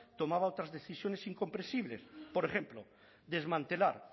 tomaba otras decisiones incomprensibles por ejemplo desmantelar